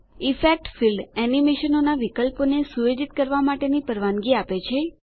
effect field એનિમેશનોનાં વિકલ્પોને સુયોજિત કરવાં માટે પરવાનગી આપે છે